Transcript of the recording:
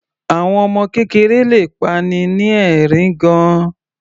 Àwọn ọmọ kékeré le pa'ni ni ẹ̀rín gan-an.